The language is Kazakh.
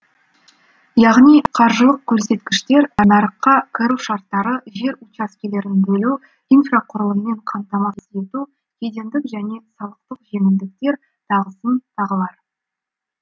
яғни қаржылық көрсеткіштер нарыққа кіру шарттары жер учаскелерін бөлу инфрақұрылыммен қамтамасыз ету кедендік және салықтық жеңілдіктер тағысын тағылар